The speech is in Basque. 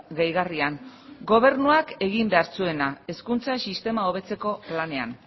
gehigarrian gobernuak egin behar zuena hezkuntza sistema hobetzeko planean